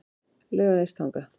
Laugarnestanga